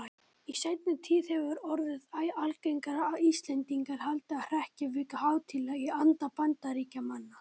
Í seinni tíð hefur orðið æ algengara að Íslendingar haldi hrekkjavöku hátíðlega í anda Bandaríkjamanna.